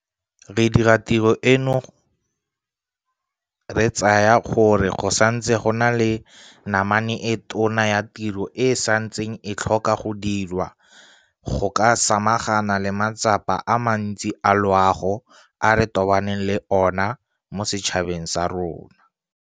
Re dira tiro eno re tsaya gore go santse go na le namane e tona ya tiro e e santseng e tlhoka go diriwa go ka samagana le matsapa a mantsi a loago a re tobaneng le ona mo setšhabeng sa rona.